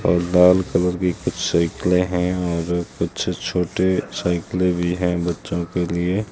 और लाल कलर की कुछ साइकिले हैं और कुछ छोटे साइकिले भी है बच्चों के लिए--